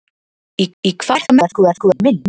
Í hvaða merkingu er þá minn?